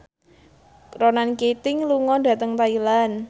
Ronan Keating lunga dhateng Thailand